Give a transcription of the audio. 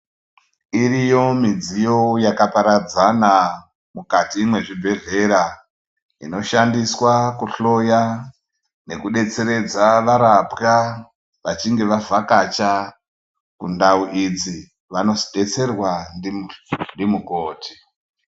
Iriyo midziyo yaka paradzana mukati me zvibhedhleya inoshandiswa ku hloya neku detseredza varapwa vachinge va vhakacha kundau idzi vanozo detserwa ndi mukoti.